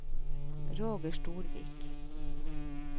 Roger Storvik